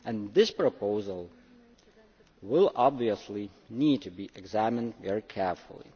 This proposal will obviously need to be examined very carefully.